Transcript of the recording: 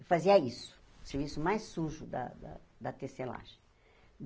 Eu fazia isso, o serviço mais sujo da da da tecelagem.